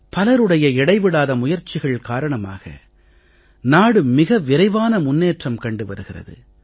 பலருடைய இடைவிடாத முயற்சிகள் காரணமாக நாடு மிக விரைவான முன்னேற்றம் கண்டு வருகிறது